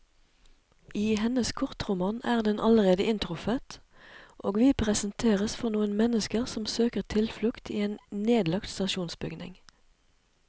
I hennes kortroman er den allerede inntruffet, og vi presenteres for noen mennesker som søker tilflukt i en nedlagt stasjonsbygning.